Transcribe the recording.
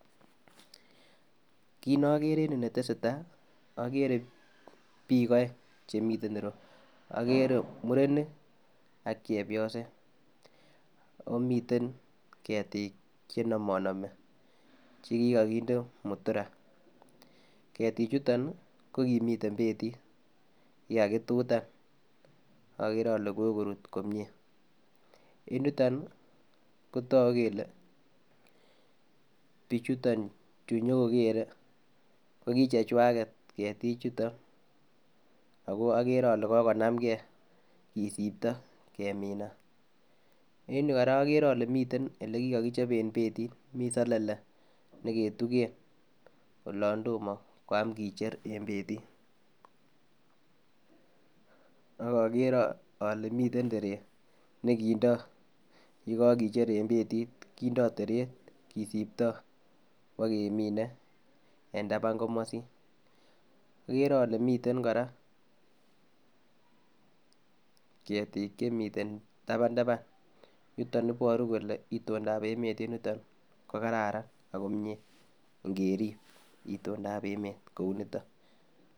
Kit ne okere en yuu netesetai okere bik oeng chemiten iroyuu, okere murenik ak chepyoset omiten ketik chenomonomi chekikokindr mutura, ketik chuton nii ko kimiten petit kikakitutan ak okere ole kokorut komie. En yuton nii kotoku kele bichuton vhu nyokokere ko kichechwaket ketik chuton ako okere ole kokonam gee kisipto keminat, en yuu Koraa okere ole miten ole kikokichopen betit miten selele nekutuken olon tomo koyam kicher en betit ak okere ole miten teret nekindo yekokicher en betit kindo teret kisipto kwokemine en taban komosin. Okere ole miten Koraa ketik chemiten taban taban niton koboru kele itondap emet en yuton ko kararan ako mie ingerib itondap emet kou niton.